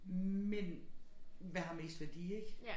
Men hvad har mest værdi ik